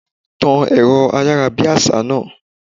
Tan ẹ̀rọ ayárabíàṣá náà!